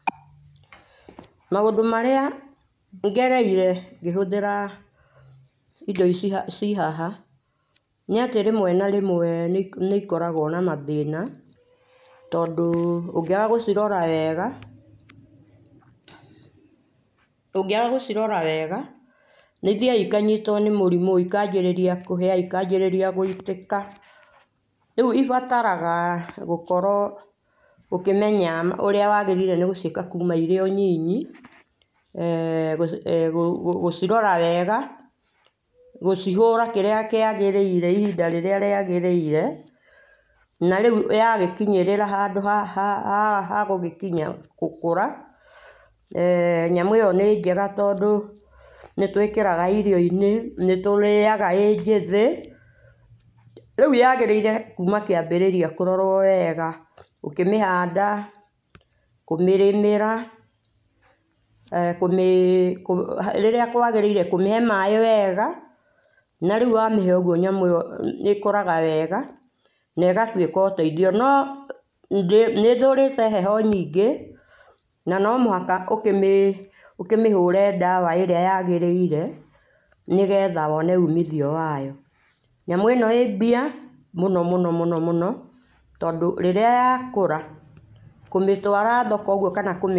Maũndũ marĩa ngerereĩre ngĩhũthĩra indo ici ci haha nĩ atĩ rĩmwe na rĩmwe nĩ ĩkoragũo na mathĩna tondũ ũngĩaga gũcirora wega nĩ ithiaga ikanyitwo nĩ mũrĩmũ ĩkanjĩrĩria kũhia ikajĩrĩria gũitĩka rĩũ ibataraga gũkorwo ũkĩmenya ũrĩa wagĩrĩire gũciĩga kũma irĩo nyinyi gũcirora wega gũcihũra kĩrĩa kĩagĩrĩire ihĩnda rĩrĩa rĩagĩrĩire na rĩũ yagĩkĩnyĩrĩrĩra handũ ha ha gũgĩkinya gũkũra eh nyamũ ĩyo nĩ njega tondũ nĩtwĩkĩraga irio inĩ nĩtũrĩaga ĩ njĩthĩ rĩũ yagĩrĩire kũma kĩambĩrĩrĩria kũrorwo wega ũkĩmĩhanda kũmĩrĩmĩra [eeh]kũmĩ rĩrĩa kũagĩrĩĩre kũmĩhe maĩ wega na rĩũ wamĩhe ũgũo nyamũ ĩyo ĩkũraga wega na ĩgatwĩka ũteithio no nĩ ĩthũrĩte heho nyingĩ na no mũhaka ũkĩmĩ hũre dawa ĩrĩa yagĩrĩire nĩgetha wone ũmĩthio wayo nyamũ ĩno ĩ mbia mũno mũno mũno tondũ rĩrĩa yakũra kũmĩtwara thoko ũgũo kana kũmĩ.